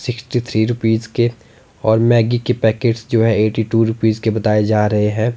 Sixty three rupees के और Maggi के पैकेट्स जो है एटी टू रूपीस के बताए जा रहे है।